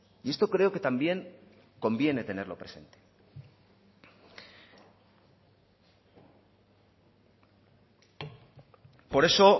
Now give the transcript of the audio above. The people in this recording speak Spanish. y esto creo que también conviene tenerlo presente por eso